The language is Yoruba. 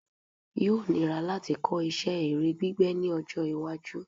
Yóò níra láti kọ́ isẹ́ ère gbígbẹ́ ní ọjọ́-iwájú.